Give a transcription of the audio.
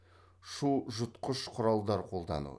шу жұтқыш құралдар қолдану